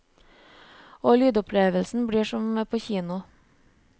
Og lydopplevelsen blir som på kino.